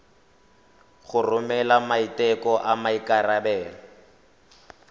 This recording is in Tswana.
go romela maiteko a maikarebelo